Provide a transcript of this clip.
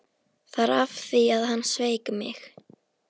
Það var af því að hann sveik mig.